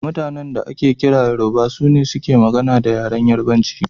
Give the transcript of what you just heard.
Mutanan da ake kira Yoruba, sune suke magana da yaren Yarubanci.